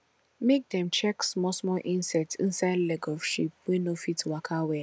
make dem check small small insect inside leg of sheep wey no fit waka well